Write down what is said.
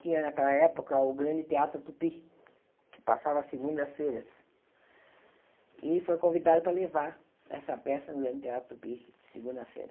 Tinha naquela época o Grande Teatro Tupi, que passava segundas-feiras, e foi convidada para levar essa peça no Grande Teatro Tupi, segunda-feira.